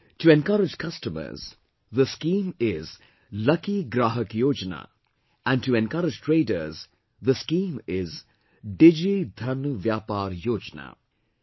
To encourage customers, the scheme is 'Lucky Grahak Yojana' and to encourage traders the scheme is 'Digi Dhan Vyapaar Yojana'